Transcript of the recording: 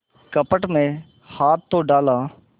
कपट में हाथ तो डाला